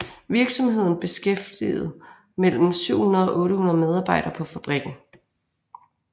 Virksomheden beskæftigede mellem 700 og 800 medarbejdere på fabrikken